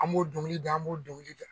An m'o dɔnkili da an m'o dɔnkili da.